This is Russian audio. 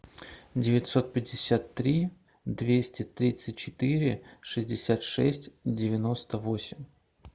девятьсот пятьдесят три двести тридцать четыре шестьдесят шесть девяносто восемь